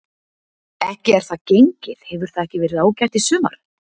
Ekki er það gengið, hefur það ekki verið ágætt í sumar?